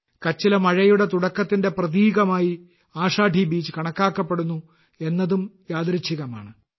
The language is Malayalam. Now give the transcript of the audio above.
കച്ചിലെ മഴയുടെ തുടക്കത്തിന്റെ പ്രതീകമായി ആഷാഢി ബീജ് കണക്കാക്കപ്പെടുന്നു എന്നതും യാദൃശ്ചികമാണ്